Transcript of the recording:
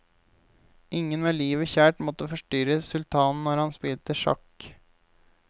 Ingen med livet kjært måtte forstyrre sultanen når han spilte sjakk.